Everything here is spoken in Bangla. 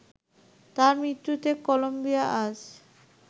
তাঁর মৃত্যুতে কলম্বিয়া আজ